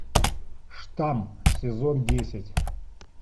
штамм сезон десять